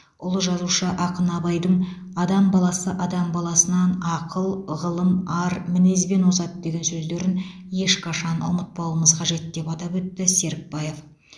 ұлы жазушы ақын абайдың адам баласы адам баласынан ақыл ғылым ар мінезбен озады деген сөздерін ешқашан ұмытпауымыз қажет деп атап өтті серікбаев